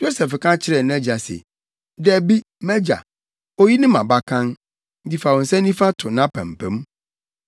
Yosef ka kyerɛɛ nʼagya se, “Dabi, mʼagya, oyi ne mʼabakan, nti fa wo nsa nifa to nʼapampam.”